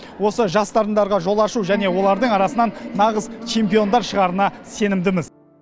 осы жас дарындарға жол ашу және олардың арасынан нағыз чемпиондар шығарына сенімдіміз